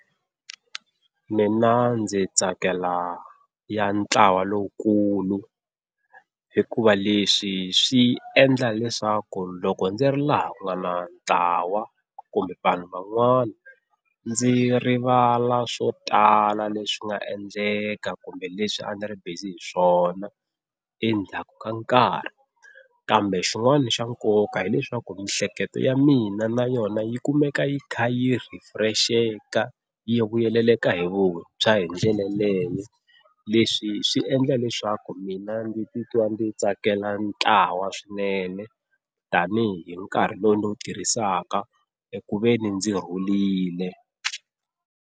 Mina ndzi tsakela ya ntlawa lowukulu hikuva leswi swi endla leswaku loko ndzi ri laha ku nga na ntlawa kumbe vanhu van'wana ndzi rivala swo tala leswi nga endleka kumbe leswi a ni ri busy hi swona endzhaku ka nkarhi. Kambe xin'wana xa nkoka hileswaku miehleketo ya mina na yona yi kumeka yi kha yi ri refresh-eka yi vuyeleleka hi vuntshwa hi ndlela yaleyo. Leswi swi endla leswaku mina ndzi titwa ndzi tsakela ntlawa swinene tani hi hi nkarhi lowu ndzi wu tirhisaka eku veni ndzi rhulile.